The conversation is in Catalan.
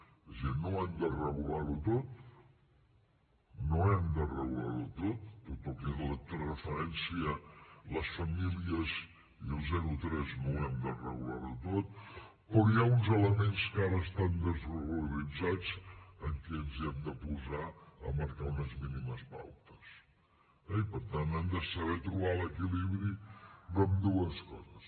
és a dir no hem de regular ho tot no hem de regular ho tot tot el que fa referència a les famílies i al zero tres no ho hem de regular tot però hi ha uns elements que ara estan desregularitzats en què ens hi hem de posar a marcar unes mínimes pautes eh i per tant hem de saber trobar l’equilibri d’ambdues coses